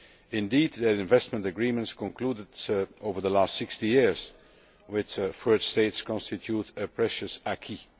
Indeed their investment agreements concluded over the last 60 years with further states constitute a precious acquis